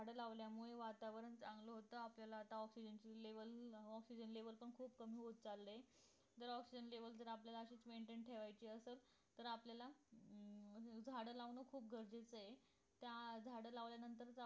झाड लावल्यामुळे वातावरण चांगलं होत आपल्याला आता ऑक्सिजन च level अं ऑक्सिजन level पण खूप कमी होत चालय जर ऑक्सिजन level जर आपल्याला maintain ठेवायचं असेल तर आपल्याला अं झाड लावणं खूप गरजेचं आहे त्या झाड लावल्यानंतर